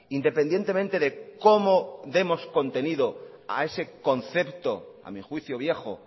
independientemente de cómo demos contenido a ese concepto a mi juicio viejo